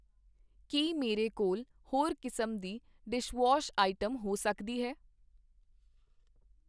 ਕੀ ਮੇਰੇ ਕੋਲ ਹੋਰ ਕਿਸਮ ਦੀ ਡਿਸ਼ਵਾਸ਼ ਆਈਟਮ ਹੋ ਸਕਦੀ ਹੈ?